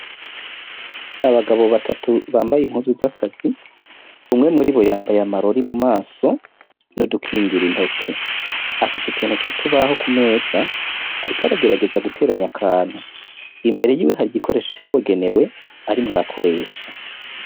Abagabo batatu bambaye impuzu z'akazi umwe muri bo yambaye amarori mu maso n’udukingira intoke afise utuntu tw’utubaho ku meza, ariko aragerageza guteranya akantu imbere yiwe hari igikoresho cabigenewe arimwo arakoresha.